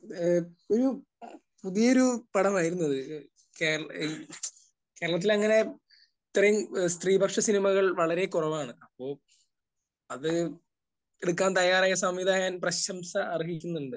ഏഹ് ഒരു പുതിയൊരു പടമായിരുന്നു അത്. കേരള...ഈ കേരളത്തിൽ അങ്ങനെ ഇത്രയും സ്ത്രീപക്ഷ സിനിമകൾ വളരെ കുറവാണ്. അപ്പോൾ അത് എടുക്കാൻ തയ്യാറായ സംവിധായകൻ പ്രശംസ അർഹിക്കുന്നുണ്ട്.